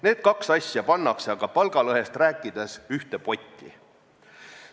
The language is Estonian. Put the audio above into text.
Need kaks asja pannakse aga palgalõhest rääkides ühte potti.